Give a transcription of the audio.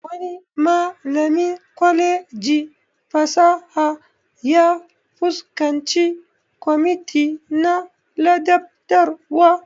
Wani malamin kwalejin fasaha ya fuskanci kwamiti na ladabtarwa